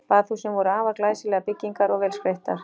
Baðhúsin voru afar glæsilegar byggingar og vel skreyttar.